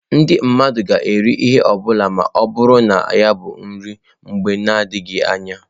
Ndị mmadụ ga-eri ihe ọ bụla ma ọ bụrụhaala na ọ bụ nri mgbe na adịghị anya.